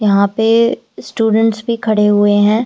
यहां पे स्टूडेंट्स भी खड़े हुए हैं।